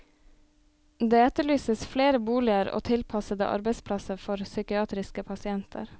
Det etterlyses flere boliger og tilpassede arbeidsplasser for psykiatriske pasienter.